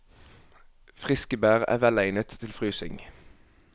Friske bær er velegnet til frysing.